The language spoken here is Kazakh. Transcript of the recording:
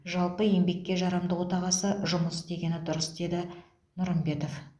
жалпы еңбекке жарамды отағасы жұмыс істегені дұрыс деді нұрымбетов